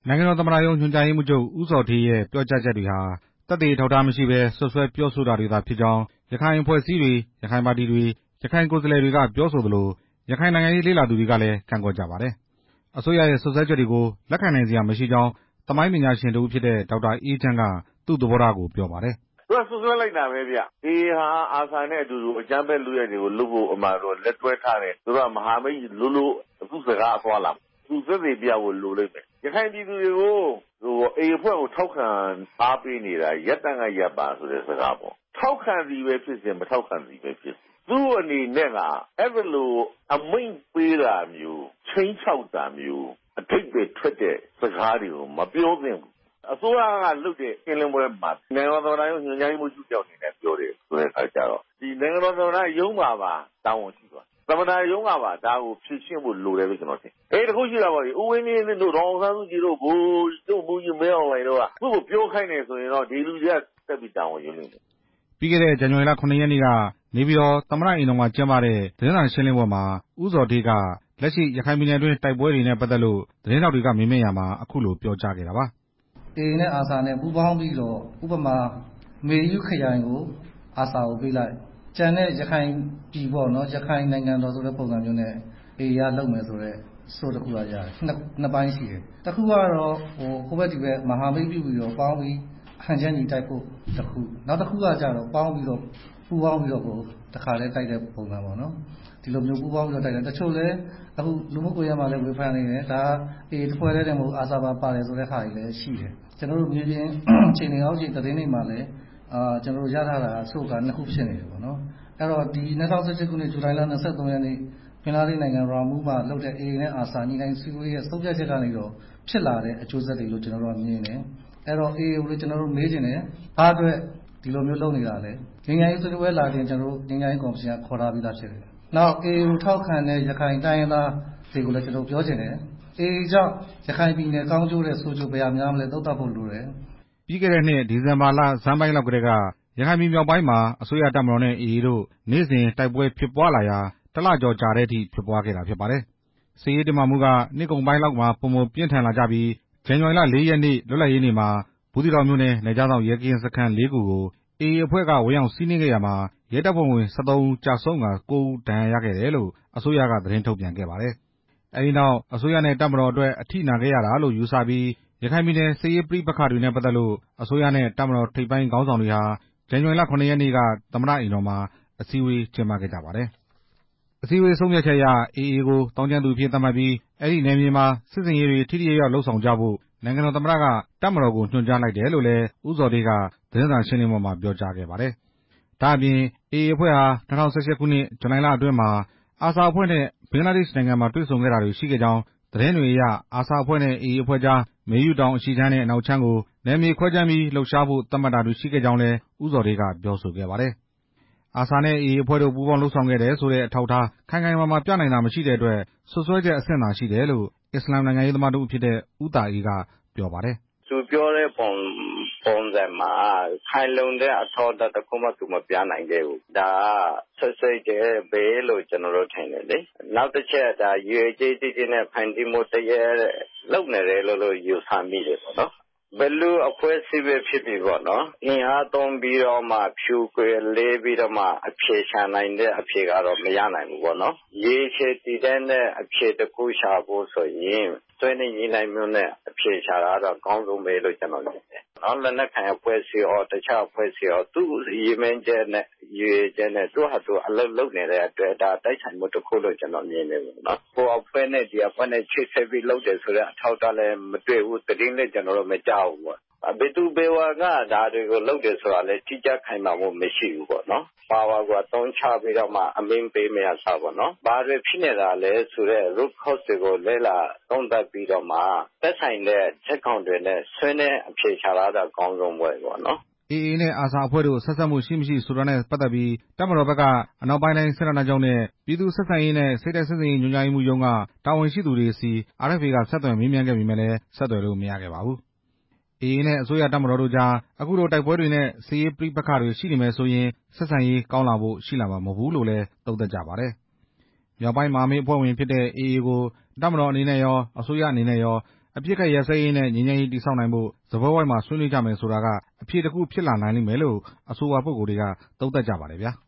နိုင်ငံတော် သမ္မတရုံး ညွှန်ကြားရေးမှူးချုပ် ဦးဇော်ဌေး ရဲ့ ပြောကြားချက်တွေဟာ သက်သေအထောက်အထား မရှိဘဲ စွပ်စွဲပြောဆိုတာတွေသာ ဖြစ်ကြောင်း ရခိုင်အဖွဲ့အစည်းတွေ၊ ရခိုင်ပါတီတွေ၊ ရခိုင်ကိုယ်စားလှယ်တွေက ပြောဆိုသလို ရခိုင်နိုင်ငံရေး လေ့လာသူတွေကလည်း ကန့်ကွက်ကြပါတယ်။ အစိုးရရဲ့စွပ်စွဲချက်တွေကို လက်ခံနိုင်စရာမရှိကြောင်း သမိုင်းပညာရှင် ဒေါက်တာ အေးချမ်း က သူ့သဘောထားကို ပြောပါတယ်။ "သူကစွပ်စွဲလိုက်တာပဲဗျ၊ AA ဟာ ARSA နဲ့အတူ အကြမ်းဖက်လုပ်ရပ်တွေကို လက်တွဲထားတယ် သူ က မဟာမိတ်လိုလို သူ့စကားအသွားအလာမှာပေါ့၊ သူသက်သေပြဖို့ လိုလိမ့်မယ် ၊ ရခိုင်ပြည်သူတွေကို AA အဖွဲ့ကို ထောက်ခံအားပေးနေတာ ရပ်တန်းကရပ်ပါလို့ ပြောတဲ့စကားက ထောက်ခံသည်ဖြစ်စေ မထောက်ခံသည်ဖြစ်စေ သူ့အနေနဲ့ အဲဒီလို အမိန့်ပေးတာမျိုး၊ ခြိမ်းခြောက်တာမျိုး အဓိပ္ပါယ်ထွက်တဲ့ စကားတွေမပြောသင့်ဘူး၊ အစိုးရက လုပ်တဲ့ရှင်းလင်းပွဲမှာ နိုင်ငံတော သမ္မတရုံး ညွှန်ကြားရေးမှုးချုပ် တစ်ယောက်က ပြောတယ်ဆိုတဲ့အခါကျတော့ နိုင်ငံတော် သမ္မတ ရုံးမှာပါ တာဝန်ရှိသွားပြီ၊ သမ္မတရုံးက ပါ ဒါကိုဖြေရှင်းဖို့ လိုတယ်လို့ ထင်တယ်၊ တစ်ခုရှိတာပေါ့လေ ဦးဝင်းမြင့်တို့ ဒေါ်အောင်ဆန်းစုကြည်တို့ ဗိုလ်ချုပ်မှူးကြီး မင်းအောင်လှိုင်တို့က သူ့ကိုပြောခိုင်းတယ်ဆိုရင်တော့ ဒီလူတွေကဆက်ပြီး တာဝန်ယူရလိမ့်မယ်" ပြီးခဲ့တဲ့ဇန်နဝါရီလ ၇ ရက်နေ့က နေပြည်တော် သမ္မတအိမ်တော်မှာ ကျင်းပတဲ့ သတင်းစာရှင်းလင်းပွဲမှာ ဦးဇော်ဌေးက လက်ရှိ ရခိုင်ပြည်နယ်အတွင်း တိုက်ပွဲတွေနဲ့ပတ်သက်လို့ သတင်းထောက်တွေက မေးမြန်းရာမှာ အခုလိုပြောကြားခဲ့တာပါ။ "AA နဲ့ ARSA ပူးပေါင်းပြီးတော့ မေယုခရိုင်ကို ARSA ကို ပေးလိုက် ၊ ကျန်တဲ့ ရခိုင်ပြည်ပေါ့နော် ရခိုင် နိုင်ငံတော်ဆိုတဲ့ ပုံစံမျိုးနဲ့ AA က လုပ်မယ်ဆိုတဲ့ sourse တစ်ခုက ရတယ်၊ တစ်ခုကတော့ ဟိုဘက် ဒီဘက် မဟာမိတ်ပြုပြီးတော့ ပေါင်းပြီးတော့ ဟန်ချက်ညီ တိုက်ဖို့တစ်ခု၊ နောက်တစ်ခုကတော့ ပေါင်းပြီး တော့ တစ်ခါတည်း တိုက်တဲ့ပုံစံပေါ့နော်၊ ဒီလိုမျိုး ပူးပေါင်းပြီးတော့တိုက်တယ်၊ တချို့လည်း အခု လူမှုကွန်ရက်မှာလည်း ဝေဖန်နေတယ် AA တစ်ဖွဲ့တည်းမဟုတ်ဘူး ARSA ပါ ပါတယ်ဆိုတဲ့ဟာမျိုးရှိ တယ်၊ မြေပြင် အောက်ခြေသတင်းတွေမှာလည်း ကျနော်တို့ရထားတာ sourse က နှစ်ခုဖြစ်နေ တယ်ပေါ့နော်၊ ၂၀၁၈ ခုနှစ် ဇူလိုင်လ ၂၃ ရက်နေ့ ဘင်္ဂလားဒေ့ရှ်နိုင်ငံ ရာမူးမြို့မှာ AA နဲ့ ARSA တို့ ဆွေးနွေးညှိနှိုင်းချက်တွေကနေ ဖြစ်လာတဲ့အကျိုးဆက်တွေလို့ မြင်တယ်၊ AA ကို ကျနော်တို့ မေးချင်တယ် ဘာ့အတွက် ဒီလိုမျိုးလုပ်နေတာလဲ၊ ငြိမ်းချမ်းရေးဆွေးနွေးပွဲ လာချင်ရင် ငြိမ်းချမ်းရေး ကော်မရှင်က ခေါ်ထားပြီးသား နောက် AA ကို ထောက်ခံတဲ့ ရခိုင်တိုင်းရင်းသားတွေကိုလည်း ကျနော် ပြောချင်တယ်၊ AA ကြောင့် ရခိုင်ပြည်နယ် ကောင်းကျိုးထက် ဆိုးကျိုး ဘယ်ဟာများမလဲ သုံးသပ်ဖို့ လိုတယ်" ပြီးခဲ့တဲ့နှစ် ဒီဇင်ဘာလဆန်းပိုင်းကတည်းက ရခိုင်ပြည်မြောက်ပိုင်းမှာ အစိုးရတပ်မတော်နဲ့ AA တို့ နေ့စဉ်တိုက်ပွဲဖြစ်ပွားလာရာ တစ်လကျော်ကြာအထိ ဖြစ်ပွားခဲ့တာဖြစ်ပါတယ်။ စစ်ရေးတင်းမာမှုက နှစ်ကုန်ပိုင်းလောက်မှာ ပိုမိုပြင်းထန်လာကြပြီး ဇန်နဝါရီလ ၄ ရက် နေ့ လွတ်လပ်ရေးနေ့မှာ ဘူးသီးတောင်မြို့နယ် နယ်ခြားစောင့်ရဲကင်းစခန်း ၄ ခု ကို AA က ဝင်ရောက်စီးနင်းခဲ့ရာ ရဲတပ်ဖွဲ့ဝင် ၁၃ ဦး ကျဆုံးကာ ၉ ဦး ဒဏ်ရာရခဲ့တယ်လို့ အစိုးရက သတင်းထုတ်ပြန်ခဲ့ပါတယ်။ အဲဒီနောက် အစိုးရနဲ့ တပ်မတော်အတွက် အထိနာခဲ့ရတာလို့ ယူဆပြီး ရခိုင်ပြည်နယ် စစ်ရေးပဋိပက္ခတွေနဲ့ ပတ်သက်လို့ အစိုးရနဲ့ တပ်မတော် ထိပ်ပိုင်းခေါင်းဆောင်တွေဟာ ဇန်နဝါရီလ ၇ရက်နေ့က သမ္မတအိမ်တော်မှာ အစည်းအဝေး ကျင်းပခဲ့ကြပါတယ်။ အစည်းအဝေး ဆုံးဖြတ်ချက်အရ AA ကို သောင်းကျန်းသူအဖြစ် သတ်မှတ်ပြီး အဲဒီနယ်မြေမှာ စစ်ဆင်ရေးတွေ ထိထိရောက်ရောက်လုပ်ဆောင်ကြဖို့ နိုင်ငံတော် သမ္မတက တပ်မတော်ကို ညွှန်ကြားလိုက်တယ်လို့လည်း ဦးဇော်ဌေးက သတင်းစာရှင်းလင်းပွဲမှာ ပြောကြားခဲ့ပါတယ်။ ဒါ့အပြင် AA အဖွဲ့ဟာ ၂၀၁၈ ခုနှစ် ဇူလိုင်လအတွင်းမှာ ARSA အဖွဲ့နဲ့ ဘင်္ဂလားဒေ့ရှ်နိုင်ငံမှာ တေ့ွဆုံတာတွေရှိခဲ့ကြောင်း၊ သတင်းတွေအရ ARSA အဖွဲ့နဲ့ AA အဖွဲ့ကြား မေယုတောင် အရှေ့ခြမ်းနဲ့ အနောက်ခြမ်းကို နယ်မြေခွဲခြမ်းပြီး လှုပ်ရှားဖို့ သတ်မှတ်တာတွေ ရှိခဲ့ကြောင်းလည်း ဦးဇော်ဌေး က ပြောဆိုခဲ့ပါတယ်။ ARSA နဲ့ AA အဖွဲ့တို့ ပူးပေါင်းလုပ်ဆောင်တယ်ဆိုတဲ့ အထောက်အထား ခိုင်ခိုင်မာမာ ပြနိုင်တာ မရှိတဲ့အတွက် စွပ်စွဲချက်အဆင့်သာရှိတယ်လို့ အစ္စလာမ် နိုင်ငံရေးသမားတစ်ဦးဖြစ်တဲ့ ဦးသာအေး က ပြောပါတယ်။ "သူပြောတဲ့ပုံစံမှာ ခိုင်လုံတဲ့ အထောက်အထားတစ်ခု သူမပြနိုင်ခဲ့ဘူး၊ ဒါက စွပ်စွဲချက်ပဲလို့ ထင်တယ် လေ၊ ရည်ရွယ်ချက်ကြီးကြီးနဲ့ ဖန်တီးမှုလုပ်နေတယ်လိ့ု ယူဆမိတယ်၊ ဘယ်လိုအဖွဲ့အစည်းပဲဖြစ်ဖြစ်ပေါ့ အင်အားသုံး ဖြိုခွဲမယ်ဆိုရင် အဖြေမရနိုင်ဘူးပေ့ါ ရေရှည်တည်တံ့တဲ့ အဖြေရှာဖို့ဆိုရင် ဆွေးနွေးညှိနှိုင်း အဖြေရှာတာက အကောင်းဆုံးပဲ၊ လက်နက်ကိုင်အဖွဲ့အစည်းရော တစ်ခြားအဖွဲ့အစည်းရော သူ့ရည် မှန်းချက်နဲ့သူ လုပ်နေတဲ့အတွက် တိုက်ဆိုင်မှုလို့မြင်တယ် ဟိုအဖွဲ့နဲ့ဒီအဖွဲ့နဲ့ ချိပ်ဆက်ပြီးလုပ်တာလည်း မတွေ့ဘူး။ သတင်းလည်း ကျနော်တို့ မကြားဘူး၊ ဘယ်သူဘယ်ဝါက ဒါကိုလုပ်တယ်ဆိုတာ တိကျခိုင် မာမှုမရှိဘူးပေါ့ ပါဝါကို အသုံးချပြီးတော့ အမိန့်ပေးမယ့်အစား ဘာတွေဖြစ်နေတာလဲဆိုတဲ့ လေ့လာသုံး သပ်ပြီးတော့မှ သက်ဆိုင်တဲ့ဇာတ်ကောင်တွေနဲ့ ဆွေးနွေးအဖြေရှာတာ အကောင်းဆုံးပဲ" AA နဲ့ ARSA အဖွဲ့တို့ စပ်ဆက်မှု ရှိမရှိဆိုတာနဲ့ပတ်သက်ပြီး တပ်မတော်ဘက်က အနောက်ပိုင်းတိုင်း စစ်ဌာနချုပ်နဲ့ ပြည်သူ့ဆက်ဆံရေးနဲ့ စိတ်ဓာတ်စစ်ဆင်ရေး ညွှန်ကြားမှုရုံးက တာဝန်ရှိသူတွေဆီ RFA က ဆက်သွယ်မေးမြန်းခဲ့ပေမယ့်လည်း ဆက်သွယ်လို့မရခဲ့ပါဘူး။ AA နဲ့ အစိုးရတပ်မတော်တို့ကြား အခုလို တိုက်ပွဲတွေနဲ့ စစ်ရေး ပဋိပက္ခတွေ ရှိနေမယ်ဆိုရင် ဆက်ဆံရေးကောင်းလာဖို့ ရှိမှာမဟုတ်ဘူးလို့ သုံးသပ်ကြပါတယ်။ မြောက်ပိုင်းမဟာမိတ် တပ်ဖွဲ့ဝင်ဖြစ်တဲ့ AA ကို တပ်မတော်အနေနဲ့ရော အစိုးရအနေနဲ့ရော အပစ်ခတ် ရပ်စဲရေးနဲ့ ငြိမ်းချမ်းရေးတည်ဆောက်နိုင်ဖို့ စားပွဲဝိုင်းမှာ ဆွေးနွေးကြမယ်ဆိုတာက အဖြေတစ်ခုဖြစ် လာနိုင်လိမ့်မယ်လို့ အဆိုပါ ပုဂ္ဂိုလ်တွေက သုံးသပ်ကြပါတယ်ခင်ဗျာ။